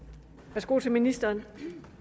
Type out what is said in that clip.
værsgo til ministeren